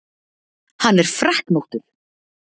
Hann er freknóttur.